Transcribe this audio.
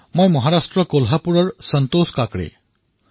মই সন্তোষ কাকড়ে কোলহাপুৰ মহাৰাষ্ট্ৰৰ পৰা কৈছোঁ